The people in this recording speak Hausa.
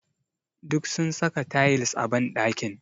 Duk sun saka tayils a ɓanɗakin.